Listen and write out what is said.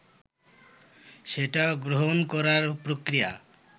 সেটা গ্রহণ করার প্রক্রিয়া